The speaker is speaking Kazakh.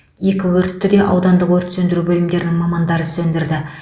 екі өртті де аудандық өрт сөндіру бөлімдерінің мамандары сөндірді